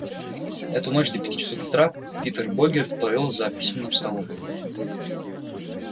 эту ночь до пяти часов утра питер богерт провёл за письменным столом